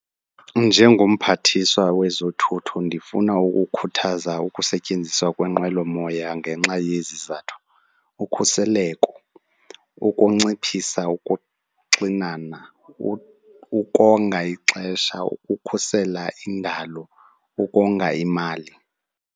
Njengomphathiswa wezothutho ndifuna ukukhuthaza ukusetyenziswa kwenqwelomoya ngenxa yezizathu, ukhuseleko, ukunciphisa ukuxinana, ukonga ixesha, ukukhusela indalo, ukonga imali.